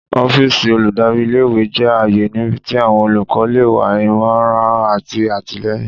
Ọfíìsì oludari íle- ìwe jẹ aaye nibiti awọn olùkọ le wa imọran ati àtìlẹ́yìn.